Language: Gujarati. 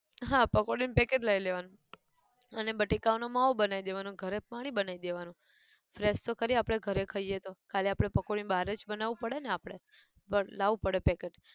હા પકોડી નું packet લઈ લેવાનું, અને બટેકાઓ નો માવો બનાયી દેવાનો અન ઘરે પાણી બનાયી દેવાનું, fresh તો ખરી આપણે ઘરે ખઈએ તો, ખાલી આપણે પકોડી ન બહાર જ બનાવવું પડે ને આપડે, પણ લાવવું પડે packet